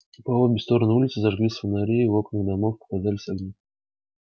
и по обе стороны улицы зажглись фонари и в окнах домов показались огни